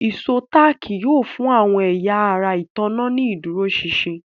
Ìṣó táàkì yóò fún àwọn ẹ̀yà ara ìtanná ní ìdúróṣinṣin